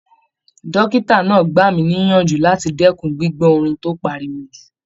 Dọ́kítà náà gbà mí níyànjú láti dẹ́kun gbígbọ́ orin tó pariwo jù.